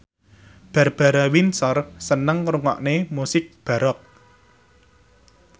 Barbara Windsor seneng ngrungokne musik baroque